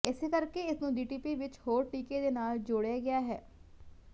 ਇਸੇ ਕਰਕੇ ਇਸਨੂੰ ਡੀਟੀਪੀ ਵਿਚ ਹੋਰ ਟੀਕੇ ਦੇ ਨਾਲ ਜੋੜਿਆ ਗਿਆ ਹੈ